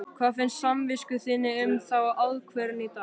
Hvað finnst samvisku þinni um þá ákvörðun í dag?